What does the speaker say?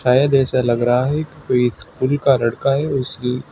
शायद ऐसा लग रहा है कि कोई स्कूल का लड़का है उसकी--